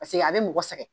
Paseke a bɛ mɔgɔ sɛgɛn